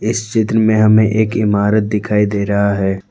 इस चित्र में हमें एक इमारत दिखाई दे रहा है।